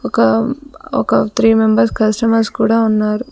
ఒక ఒక three members customers కూడా ఉన్నారు.